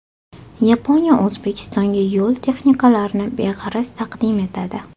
Yaponiya O‘zbekistonga yo‘l texnikalarini beg‘araz taqdim etadi.